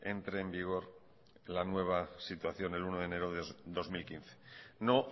entre en vigor la nueva situación el uno de enero de dos mil quince no